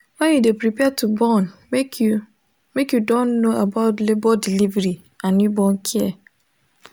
when you de prepare to born make you make you don know about labor delivery and newborn care